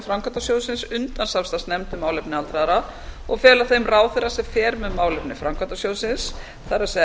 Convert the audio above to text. framkvæmdasjóðsins undan samstarfsnefnd um málefni aldraðra og fela þeim ráðherra sem fer með málefni framkvæmdasjóðsins það er